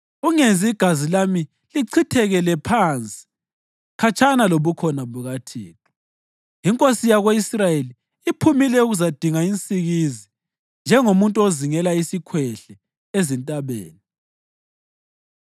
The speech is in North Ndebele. Ungenzi igazi lami lichithekele phansi khatshana lobukhona bukaThixo. Inkosi yako-Israyeli iphumile ukuzadinga insikizi njengomuntu ozingela isikhwehle ezintabeni.”